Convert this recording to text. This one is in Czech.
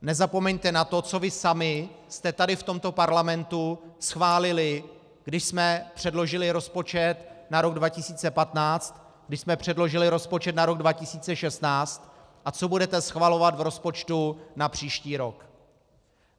Nezapomeňte na to, co vy sami jste tady v tomto Parlamentu schválili, když jsme předložili rozpočet na rok 2015, když jsme předložili rozpočet na rok 2016 a co budete schvalovat v rozpočtu na příští rok.